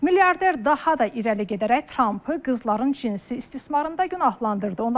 Milyarder daha da irəli gedərək Trampı qızların cinsi istismarında günahlandırdı.